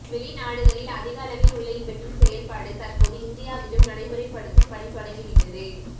வெளிநாடுகளில் அதிக அளவில் உள்ள இவற்றின் செயல்பாடு தற்போது இந்தியாவிலும் நடைமுறைப்படுத்தும் பணி தொடங்கி விட்டது